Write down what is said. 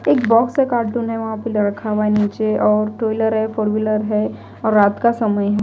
एक बॉक्स है कार्टून है वहाँ पे रखा हुआ है नीचे और टू व्हीलर है फोर व्हीलर है और रात का समय--